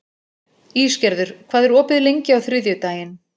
Ísgerður, hvað er opið lengi á þriðjudaginn?